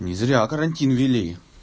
не зря карантин ввели